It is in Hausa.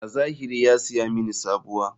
A zahiri ya saya mini sabuwa.